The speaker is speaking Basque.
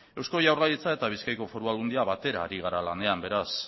eusko jaurlaritza eta bizkaiko foru aldundia batera ari gara lanean beraz